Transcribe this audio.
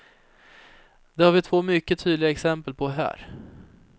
Det har vi två mycket tydliga exempel på här.